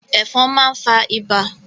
Ẹ̀fọn máa ń fa ibà.